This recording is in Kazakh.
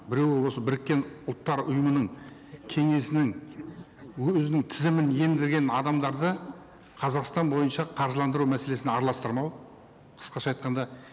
біреуі осы біріккен ұлттар ұйымының кеңесінің өзінің тізімін енгізген адамдарды қазақстан бойынша қаржыландыру мәселесін араластырмау қысқаша айтқанда